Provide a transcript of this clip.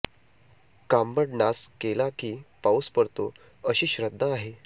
कांबड नाच केला की पाऊस पडतो अशी श्रद्धा आहे